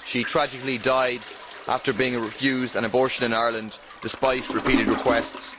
She tragically died after being refused an abortion in Ireland, despite repeated requests.